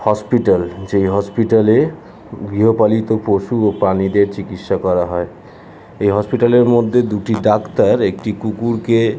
hospital যেই hospital -এ গৃহপালিত পশু ও প্রানীদের চিকিৎসা করা হয় ।| এই হসপিটাল -এর মধ্যে দুটি ডাক্তার একটি কুকুরকে --